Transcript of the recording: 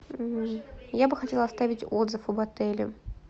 я бы хотела оставить отзыв об отеле